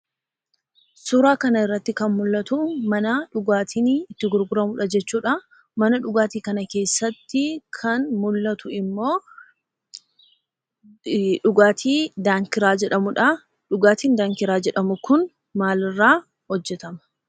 Suuraa kana irratti kan mul'atu mana dhugaatiin itti gurguramuudha jechuudha. Mana dhugaatii kana keessatti kan mul'atu immoo dhugaatii 'daankiraa' jedhamuudha. Dhugaatiin 'daankiraa' jedhamu kun maal irraa hojjetama?